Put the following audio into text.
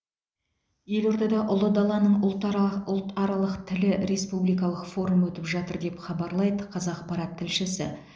елордада ұлы даланың ұлтарақ ұлтаралық тілі республикалық форумы өтіп жатыр деп хабарлайды қазақпарат тілшісі